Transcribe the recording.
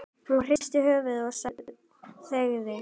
Hún hristi höfuðið og þagði.